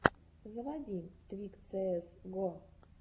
заводи твик цээс го